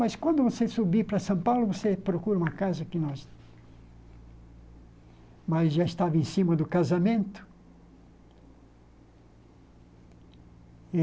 Mas quando você subir para São Paulo, você procura uma casa que nós... Mas já estava em cima do casamento.